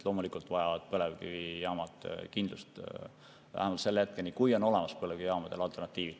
Loomulikult vajavad põlevkivijaamad kindlust, vähemalt selle hetkeni, kui neile on olemas alternatiivid.